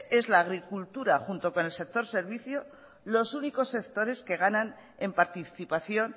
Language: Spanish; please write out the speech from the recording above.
es la agricultura junto con el sector servicio los únicos sectores que ganan en participación